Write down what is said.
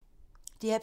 DR P2